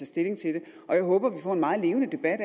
stilling til det og jeg håber at vi får en meget levende debat